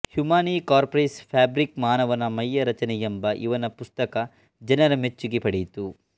Humani Corporis Fabrica ಮಾನವನ ಮೈಯ ರಚನೆ ಎಂಬ ಇವನ ಪುಸ್ತಕ ಜನರ ಮೆಚ್ಚುಗೆ ಪಡೆಯಿತು